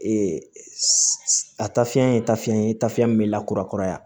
a tafiyɛn ye tafi ye tafiɲɛ min be lakurakura ya